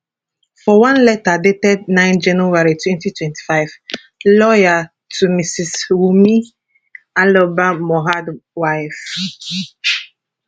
for one letter dated 9 january 2025 lawyer to mrs wunmi aloba mohabd wife